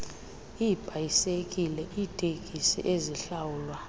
iibhayisekile iiteksi ezihlawulwa